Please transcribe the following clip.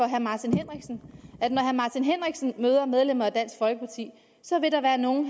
herre martin henriksen møder medlemmer af dansk folkeparti vil der være nogle